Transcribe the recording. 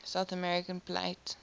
south american plate